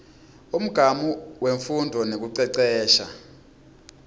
umgamu wemfundvo nekucecesha